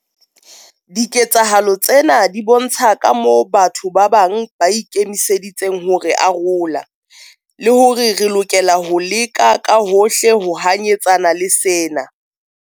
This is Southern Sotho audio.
Diketsahalo tsena di bontsha kamoo batho ba bang ba ikemiseditseng ho re arola, le hore re lokela ho leka ka hohle ho hanyetsana le sena.